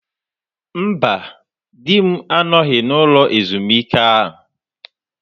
Mba, di m anọghị n'ụlọ ezumike a.